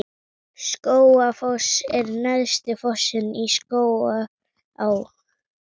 Skógafoss er neðsti fossinn í Skógaá.